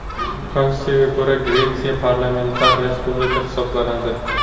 Konstitutsiyasiga ko‘ra, Gretsiya parlamentar respublika hisoblanadi.